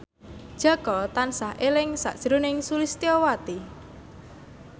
Jaka tansah eling sakjroning Sulistyowati